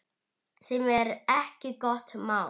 Sem er ekki gott mál.